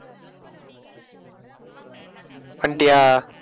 வந்துட்டியா?